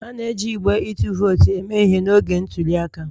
A na-eji igbe ịtụ vootu eme ihe n'oge ntuli aka